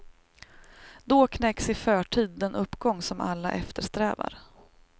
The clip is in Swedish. Då knäcks i förtid den uppgång som alla eftersträvar.